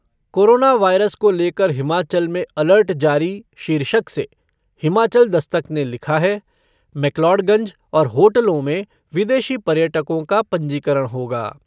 Corona virus को लेकर हिमाचल में अलर्ट जारी शीर्षक से हिमाचल दस्तक ने लिखा है मैक्लोडगंज और होटलों में विदेशी पर्यटकों का पंजीकरण होगा।